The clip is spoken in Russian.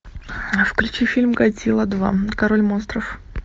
включи фильм годзилла два король монстров